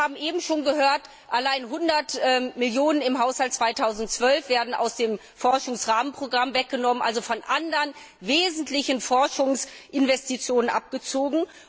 Wir haben eben schon gehört Allein 100 Millionen EUR im Haushalt 2012 werden aus dem Forschungsrahmenprogramm weggenommen, also von anderen wesentlichen Forschungsinvestitionen abgezogen.